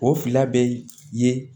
O fila bɛ ye